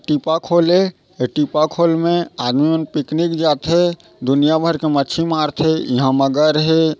टीपाखोल है ए टीपाखोल में आदमी मन पिकनिक जाथे दुनिया भर के मछी मारथे इहा मगर हे।